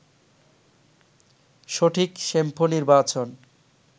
সঠিক শ্যাম্পু নির্বাচন